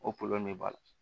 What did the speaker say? O de b'a la